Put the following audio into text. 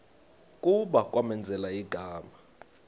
kuba kwamenzela igama